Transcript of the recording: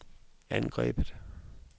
angrebet